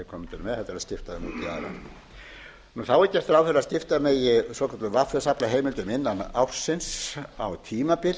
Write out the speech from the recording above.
aðra þá er gert ráð fyrir að skipta megi svokölluðum vs afla heimildum innan ársins á tímabil